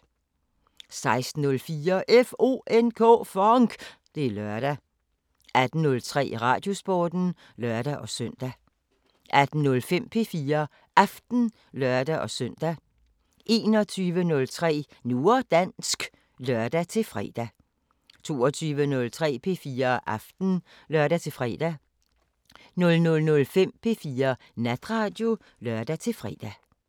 16:04: FONK! Det er lørdag 18:03: Radiosporten (lør-søn) 18:05: P4 Aften (lør-søn) 21:03: Nu og dansk (lør-fre) 22:03: P4 Aften (lør-fre) 00:05: P4 Natradio (lør-fre)